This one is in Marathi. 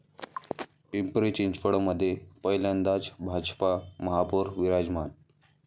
पिंपरी चिंचवडमध्ये पहिल्यांदाच भाजपचा महापौर विराजमान